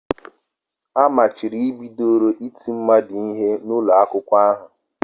Amachibidoro iti mmadu ihe n'ụlọ akwụkwọ a